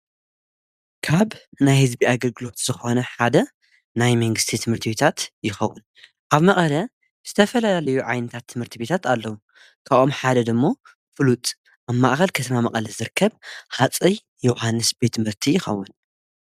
ካብ ናይ ሕዝቢ ኣግድግሎት ዝኾነ ሓደ ናይ መንግሥቲ ትምህርቲ ቤታት ይኸዉን ኣብ መቐረ ዝተፈላልዩ ዓይንታት ትምህርቲ ቤታት ኣለዉ ካኦም ሓደ ድሞ ፍሉጥ ኣብ ማእኸል ከተማ መቐለት ዝርከብ ኻፀይ ዮሓንስ ቤት መርቲ ይኸቡን።